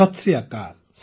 ସତ୍ ଶ୍ରୀ ଅକାଲ୍